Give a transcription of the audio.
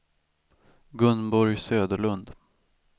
Gunborg Söderlund